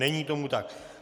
Není tomu tak.